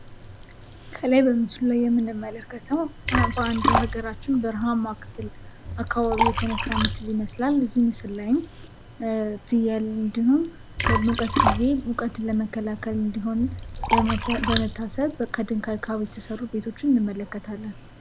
ከላይ በምስሉ ላይ የምንመለከተው በአንድ የሃገራችን በረሃማ አካባቢ የተነሳ ምስል ይመስላል፤ እዚህ ምስል ላይም ፍየል እንዲሁም ለሙቀት ጊዜ ሙቀትን ለመከላከል በመታሰብ ከድንጋይ ካብ የተሰሩ ቤቶችን እንመለከታለን።